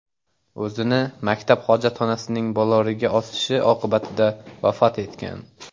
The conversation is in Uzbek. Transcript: o‘zini maktab hojatxonasining boloriga osishi oqibatida vafot etgan.